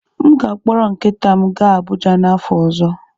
M ga-akpọrọ nkịta m gaa Abụja n'afọ ọzọ.